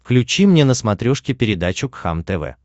включи мне на смотрешке передачу кхлм тв